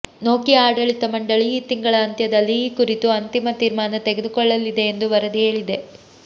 Nokia ಆಡಳಿತ ಮಂಡಳಿ ಈ ತಿಂಗಳ ಅಂತ್ಯದಲ್ಲಿ ಈ ಕುರಿತು ಅಂತಿಮ ತೀರ್ಮಾನ ತೆಗೆದುಕೊಳ್ಲಲಿದೆ ಎಂದು ವರದಿ ಹೇಳಿದೆ